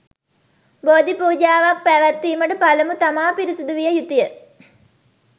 බෝධි පූජාවක් පැවැත්වීමට පළමු තමා පිරිසුදු විය යුතුය.